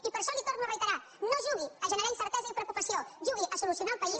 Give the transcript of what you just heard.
i per això li ho torno a reiterar no jugui a generar incerteses i preocupació jugui a solucionar el país